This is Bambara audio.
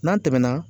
N'a tɛmɛna